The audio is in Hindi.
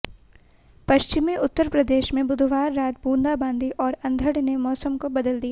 पश्चिमी उत्तर प्रदेश में बुधवार रात बूंदाबांदी और अंधड़ ने मौसम को बदल दिया